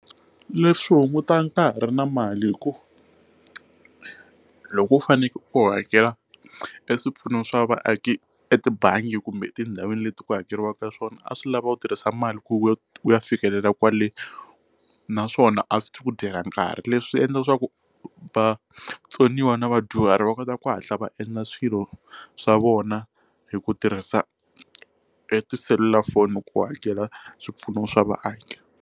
Leswi hungutaka nkarhi na mali hi ku loko u fanekele u hakela e swipfuno swa vaaki etibangi kumbe etindhawini leti ku hakeriwaka swona a swi lava u tirhisa mali ku ya u ya fikelela kwale naswona a swi ta ku dyela nkarhi leswi swi endla leswaku vatsoniwa na vadyuhari va kota ku hatla va endla swilo swa vona hi ku tirhisa e tiselulafoni ku hakela swipfuno swa vaaki.